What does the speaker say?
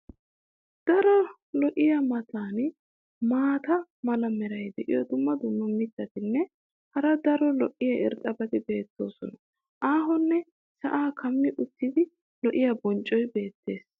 Daro lo'iya matan maata mala meray diyo dumma dumma mitatinne hara daro lo'iya irxxabati beetoosona. aahonne sa"aa kummi uttida lo'iya bonccoy beetees.